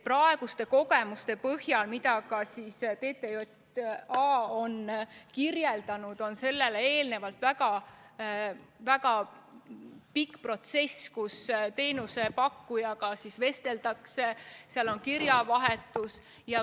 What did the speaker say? Praeguste kogemuste põhjal, mida ka TTJA on kirjeldanud, eelneb sellele väga pikk protsess, mil teenusepakkujaga vesteldakse, toimub kirjavahetus.